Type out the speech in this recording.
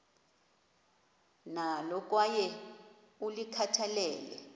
nalo kwaye ulikhathalele